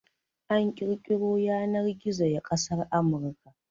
An kirkiro Yanar-gizo ya kasar Amurka